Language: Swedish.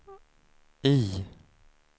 I